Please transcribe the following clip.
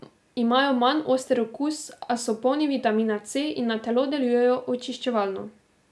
Imajo manj oster okus, a so polni vitamina C in na telo delujejo očiščevalno.